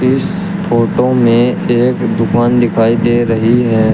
इस फोटो में एक दुकान दिखाई दे रही है।